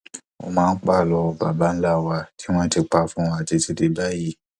ó máa ń pa àlọ baba ńlá wa tí wọn ti pa fún wa títí dé báyìí